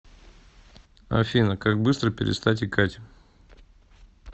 афина как быстро перестать икать